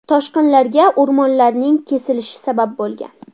Toshqinlarga o‘rmonlarning kesilishi sabab bo‘lgan.